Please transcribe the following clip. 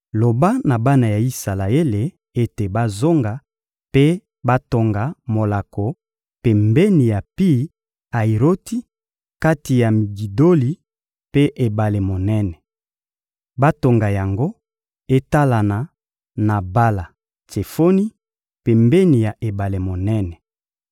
«Loba na bana ya Isalaele ete bazonga mpe batonga molako pembeni ya Pi-Ayiroti, kati ya Migidoli mpe ebale monene. Batonga yango etalana na Bala-Tsefoni pembeni ya ebale monene.